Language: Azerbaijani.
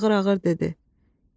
Sonra ağır-ağır dedi.